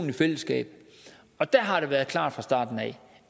i fællesskab der har det været klart fra starten af